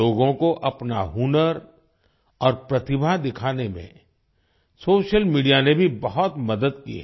लोगों को अपना हुनर और प्रतिभा दिखाने में सोशल मीडिया ने भी बहुत मदद की है